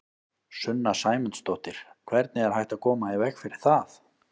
Sunna Sæmundsdóttir: Hvernig er hægt að koma í veg fyrir það?